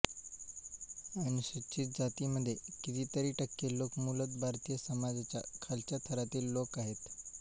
अनुसूचित जातींमध्ये कितीतरी टक्के लोक मूलत भारतीय समाजाच्या खालच्या थरातील लोक आहेत